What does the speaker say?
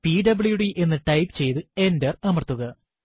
PWD എന്ന് type ചെയ്തു enter അമർത്തുക